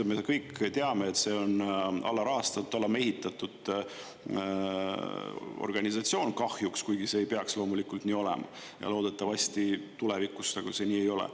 Me kõik teame, et see on alarahastatud, alamehitatud organisatsioon kahjuks, kuigi see ei peaks loomulikult nii olema ja loodetavasti tulevikus see nii ei ole.